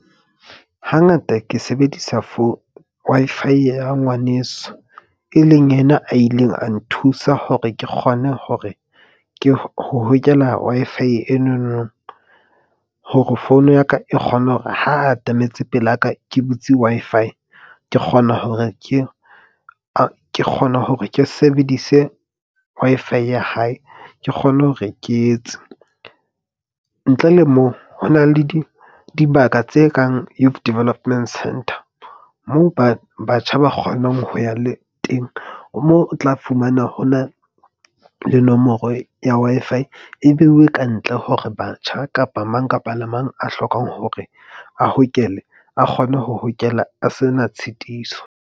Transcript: Hangata ke sebedisa for Wi-Fi ya ngwaneso, e leng yena a ileng a nthusa hore ke kgone hore ke ho hokela Wi-Fi enono. Hore phone ya ka e kgone hore ha atametse pelaka ke butse Wi-Fi. Ke kgona hore ke kgone hore ke sebedise Wi-Fi ya hae, ke kgone hore ke etse. Ntle le moo, ho na le di dibaka tse kang Youth Development Centre moo batjha ba kgonang ho ya le teng moo o tla fumana, ho na le nomoro ya Wi-Fi e beiwe kantle hore batjha kapa mang kapa mang a hlokang hore a hokele a kgone ho hokela a se na tshitiso.